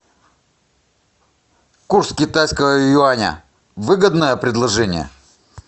курс китайского юаня выгодное предложение